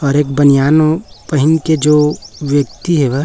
और एक बनियान पेहन के जो व्यक्ति है वो--